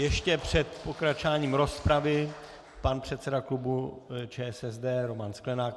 Ještě před pokračováním rozpravy pan předseda klubu ČSSD Roman Sklenák.